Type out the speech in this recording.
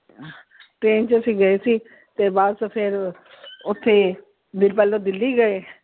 Train ਚ ਅਸੀਂ ਗਏ ਸੀ ਤੇ ਬਸ ਫਿਰ ਓਥੇ ਬੀ ਪਹਿਲੋਂ ਦਿੱਲੀ ਗਏ।